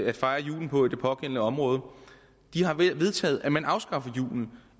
at fejre julen på i det pågældende område de har vedtaget at man afskaffer julen